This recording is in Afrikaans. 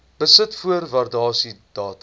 besit voor waardasiedatum